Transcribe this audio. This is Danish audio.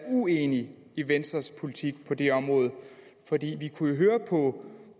uenig i venstres politik på det område vi kunne jo høre på